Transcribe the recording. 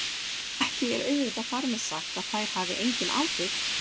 Ekki er auðvitað þar með sagt að þær hafi engin áhrif!